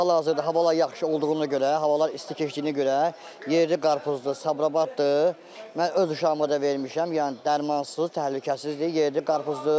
İndi hal-hazırda havalar yaxşı olduğuna görə, havalar isti keçdiyinə görə yerli qarpızdır, Sabirabaddır, mən öz uşağıma da vermişəm, yəni dərmansız, təhlükəsizdir, yerli qarpızdır.